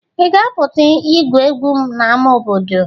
Ị ga-apụta igwu egwu n'ama obodo?